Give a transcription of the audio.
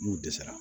N'u dɛsɛra